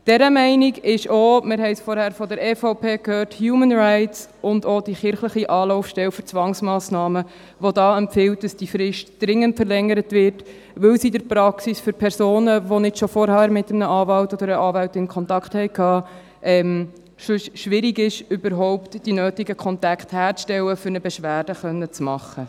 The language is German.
Dieser Meinung ist auch – wir haben es vorhin von der EVP gehört – «Humanrights» sowie auch die kirchliche Anlaufstelle für Zwangsmassnahmen, die hier empfiehlt, dass diese Frist dringend verlängert wird, weil es in der Praxis für Personen, die nicht schon vorher mit einem Anwalt oder einer Anwältin Kontakt hatten, schwierig ist, überhaupt die nötigen Kontakte herzustellen, um eine Beschwerde machen zu können.